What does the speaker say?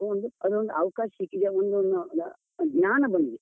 ಒಂದು ಅದೊಂದು ಅವಕಾಶ ಸಿಕ್ಕಿದೆ, ಒಂದು ಒಂದು ಜ್ಞಾನ ಬಂದಿದೆ.